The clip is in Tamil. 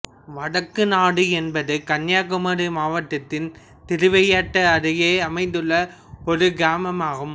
வடக்கநாடு என்பது கன்னியாகுமரி மாவட்டத்தின் திருவட்டாறு அருகே அமைந்துள்ள ஒரு கிராமம் ஆகும்